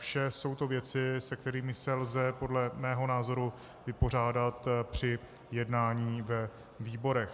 Vše jsou to věci, se kterými se lze podle mého názoru vypořádat při jednání ve výborech.